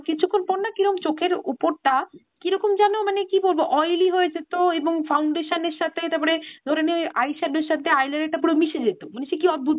কিছুক্ষন পর না কিরম চোখের উপরটা কিরকম যেন কি বলবো oily হয়ে যেত এবং foundation এর সাথে তারপরে ধরে নে eye shadow র সাথে eyeliner টা পুরো মিশে যেত। সেকি অদ্ভুত